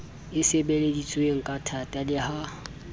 e sebeleditsweng kathata le ha